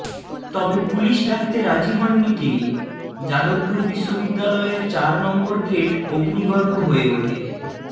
তবে পুলিশ ডাকতে রাজি হননি তিনি যাদবপুর বিশ্ববিদ্যালয়ের চার নম্বর গেট অগ্নিগর্ভ হয়ে ওঠে